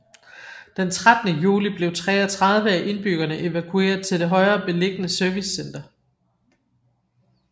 Den 13 juli blev 33 af indbyggerne evakueret til det højere beliggende servicecenter